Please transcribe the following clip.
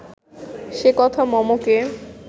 সে কথা মমকে